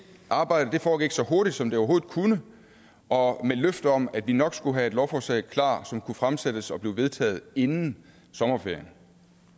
arbejde foregik så hurtigt som det overhovedet kunne og med et løfte om at vi nok skulle have et lovforslag klar som kunne fremsættes og blive vedtaget inden sommerferien